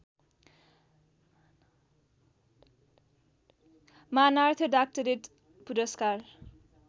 मानार्थ doctorate पुरस्कार